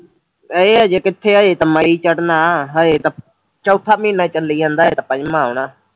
ਇਹ ਹਜੇ ਕਿੱਥੇ ਐ ਹਜੇ ਤਾਂ ਮਈ ਚੜਨਾ ਐ ਹਜੇ ਤਾਂ ਚੌਥਾ ਮਹੀਨਾ ਚੱਲੀ ਜਾਂਦਾ ਹੈ ਪੰਜਵਾ ਆਉਣਾ